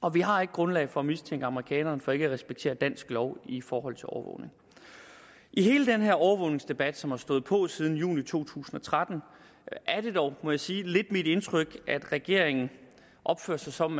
og vi har ikke grundlag for at mistænke amerikanerne for ikke at respektere dansk lov i forhold til overvågning i hele den her overvågningsdebat som har stået på siden juni to tusind og tretten er det dog må jeg sige lidt mit indtryk at regeringen opfører sig som